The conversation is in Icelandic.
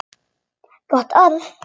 Gott orð.